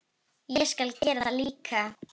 Ég skal gera það líka.